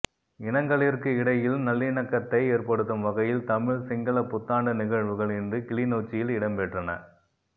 இனங்களிற்கு இடையில் நல்லிணக்கத்தை ஏற்படுத்தும் வகையில் தமிழ் சிங்கள புத்தாண்டு நிழ்வுகள் இன்று கிளிநொச்சியில் இடம்பெற்றன